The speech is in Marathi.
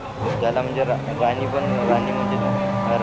हो ज्याला म्हणजे राणी पण राणी म्हणजेच